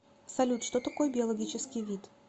салют что такое биологический вид